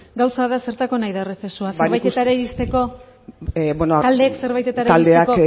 gauza da zertarako nahi da errezesua zerbaitetara iristeko beno taldeek zerbaitetara iristeko taldeak